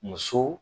Muso